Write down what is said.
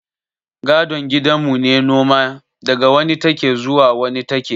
Gadon gidan mu ne noma, daga wani take zuwa wani take